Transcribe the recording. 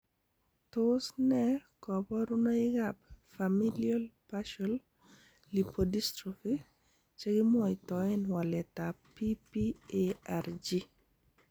Tos nee koborunoikab Familial partial lipodystrophy chekimwoitoen waletab PPARG ?